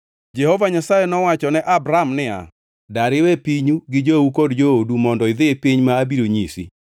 Jehova Nyasaye nowacho ne Abram niya, “Dar iwe pinyu gi jou kod joodu mondo idhi e piny ma abiro nyisi.